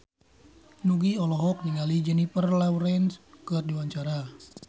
Nugie olohok ningali Jennifer Lawrence keur diwawancara